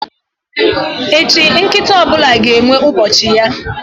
Echi, nkịta ọ bụla ga-enwe ubochi ya.